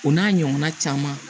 O n'a ɲɔgɔnna caman